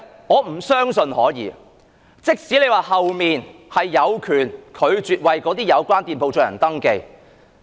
我不相信可以，即使政府說旅監局有權拒絕為有關店鋪進行登記。